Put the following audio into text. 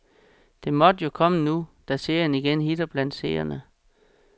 Det måtte jo komme nu da serien igen hitter blandt seerne.